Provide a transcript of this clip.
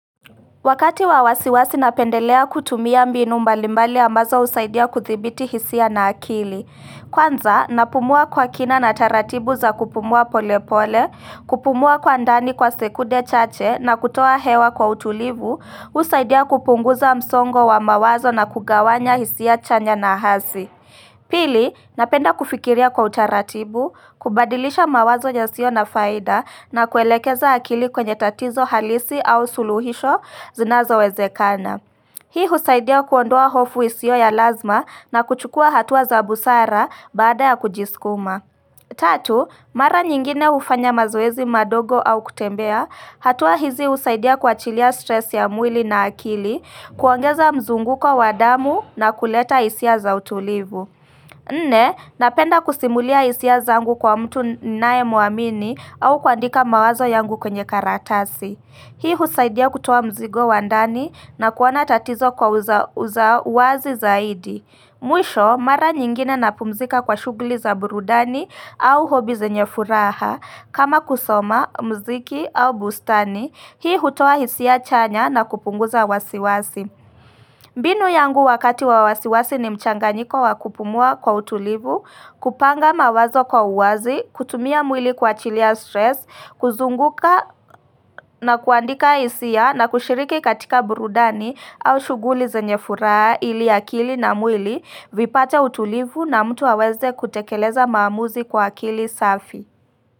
Wakati wa wasi wasi napendelea kutumia mbinu mbalimbali ambazo husaidia kuthibiti hisia na akili. Kwanza, napumua kwa kina na taratibu za kupumua polepole, kupumua kwa ndani kwa sekunde chache na kutoa hewa kwa utulivu, husaidia kupunguza msongo wa mawazo na kugawanya hisia chanya na hasi. Pili, napenda kufikiria kwa utaratibu, kubadilisha mawazo yasio na faida na kuelekeza akili kwenye tatizo halisi au suluhisho zinazowezekana. Hii husaidia kuondoa hofu isio ya lazima na kuchukua hatua za busara baada ya kujisukuma. Tatu, mara nyingine hufanya mazoezi madogo au kutembea, hatua hizi husaidia kuachilia stress ya mwili na akili, kuongeza mzunguko wa damu na kuleta hisia za utulivu. Nne, napenda kusimulia hisia zangu kwa mtu ninaye mwamini au kuandika mawazo yangu kwenye karatasi. Hii husaidia kutoa mzigo wa ndani na kuona tatizo kwa uzawazi zaidi. Mwisho, mara nyingine napumzika kwa shughuli za burudani au hobi zenye furaha. Kama kusoma, muziki au bustani, hii hutoa hisia chanya na kupunguza wasiwasi. Mbinu yangu wakati wa wasiwasi ni mchanganyiko wa kupumua kwa utulivu, kupanga mawazo kwa uwazi, kutumia mwili kuachilia stress, kuzunguka na kuandika hisia na kushiriki katika burudani au shughuli zenye furaha ili akili na mwili, vipate utulivu na mtu aweze kutekeleza maamuzi kwa akili safi.